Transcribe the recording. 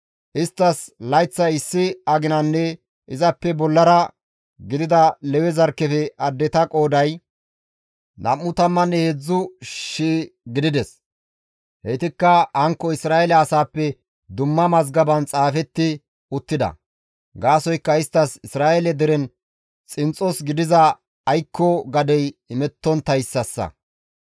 Isttas layththay issi aginanne izappe bollara gidida Lewe zarkkefe addeta qooday 23,000 gidides; heytikka hankko Isra7eele asaappe dumma mazgaban xaafetti uttida; gaasoykka isttas Isra7eele deren xinxxos gidiza aykko gadey imettonttayssasa.